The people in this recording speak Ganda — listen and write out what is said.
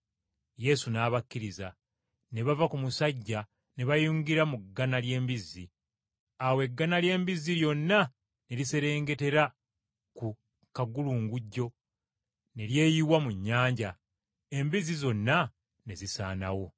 Yesu n’abakkiriza, ne bava ku musajja ne bayingira mu ggana ly’embizzi. Awo eggana ly’embizzi lyonna ne liserengetera ku kagulungujjo ne lyeyiwa mu nnyanja, embizzi zonna ne zisaanawo.